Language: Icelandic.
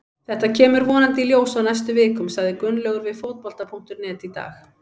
Þetta kemur vonandi í ljós á næstu vikum, sagði Gunnlaugur við Fótbolta.net í dag.